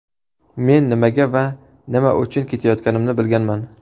Men nimaga va nima uchun ketayotganimni bilganman.